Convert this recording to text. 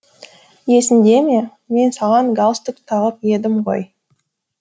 есіңде ме мен саған галстук тағып едім ғой